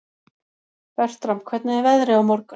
Bertram, hvernig er veðrið á morgun?